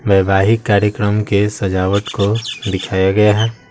वैवाहिक कार्यक्रम के सजावट को दिखाया गया है।